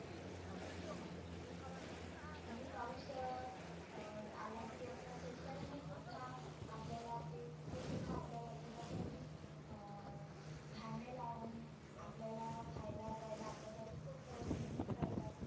आणि पाऊस अं आला की असं शेतकऱ्यांना सुद्धा आपल्याला ते ते सुद्धा पोटासाठी अं आपल्याला खायला प्यायला आपल्यासाठी खुप मेहनत करतात.